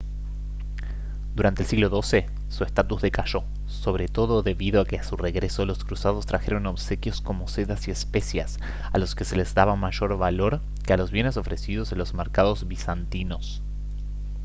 durante el siglo xii su estatus decayó sobre todo debido a que a su regreso los cruzados trajeron obsequios como sedas y especias a los que se les daba mayor valor que a los bienes ofrecidos en los mercados bizantinos